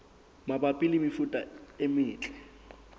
mabapi le mefuta e metle